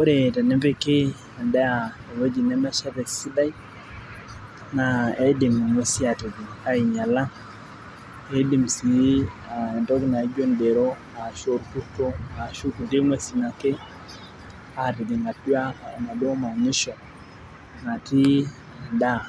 ore tenepiki edaa eweji nemeshata esidai naa iidim ing'uesi aatijing' aing'iala eedim sii kulietokikitin naijio idero ,ilkurt ashu inkulie tokikitin ake atijing atua enaduoo manyisho natii edaa.